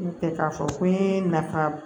N'o tɛ k'a fɔ ko nafa